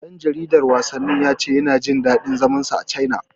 Ɗan jaridar wasannin ya ce yana jin daɗin zaman sa a Caina.